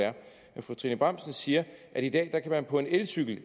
fru trine bramsen siger at i dag kan man på en elcykel